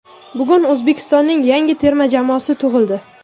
Bugun O‘zbekistonning yangi terma jamoasi tug‘ildi.